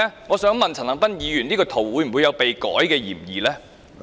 我想問一問陳恒鑌議員，他的圖片有否被修改過的嫌疑？